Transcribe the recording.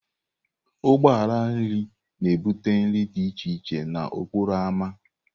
Ụgbọ ala nri na-ebute nri dị iche iche n'okporo ámá.